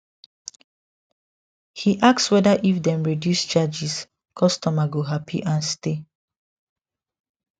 he ask whether if dem reduce charges customer go happy and stay